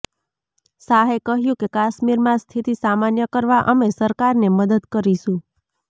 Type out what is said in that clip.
શાહે કહ્યું કે કાશ્મીરમાં સ્થિતિ સામાન્ય કરવા અમે સરકારને મદદ કરીશું